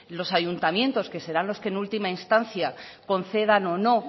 los ayuntamientos que serán los que en última instancia concedan o no